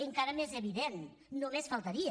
encara més evident només faltaria